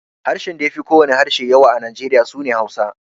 Harshen da ya fi ko wane harshe yawa a Nijeriya su ne Hausa.